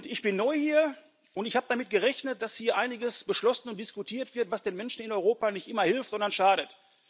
Ich bin neu hier, und ich habe damit gerechnet, dass hier einiges beschlossen und diskutiert wird, was den Menschen in Europa nicht immer hilft, sondern schadet.